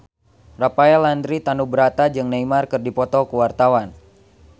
Rafael Landry Tanubrata jeung Neymar keur dipoto ku wartawan